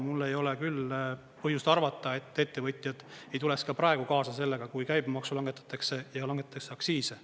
Mul ei ole küll põhjust arvata, et ettevõtjad ei tuleks ka praegu kaasa sellega, kui käibemaksu langetatakse ja langetatakse aktsiise.